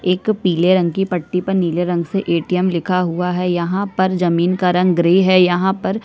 एक पीले रंग की पर नीले रंग से ए. टी. एम लिखा हुआ है यहाँ पर जमीन का रंग ग्रे है यहाँ पर--